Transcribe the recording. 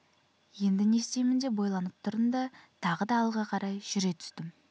енді не істеймін деп ойланып тұрдым да тағы да алға қарай жүре түстім